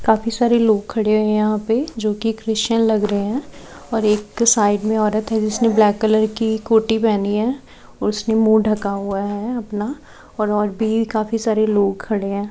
काफी सारे लोग खड़े हुए है यहां पे जो की क्रिश्चियन लग रहे हैं और एक साइड में औरत है जिसने ब्लैक कलर की कोठी पहनी है। उसने मुंह ढका हुआ है अपना और भी काफी सारे लोग खड़े हैं।